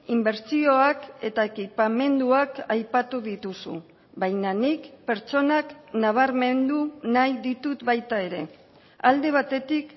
inbertsioak eta ekipamenduak aipatu dituzu baina nik pertsonak nabarmendu nahi ditut baita ere alde batetik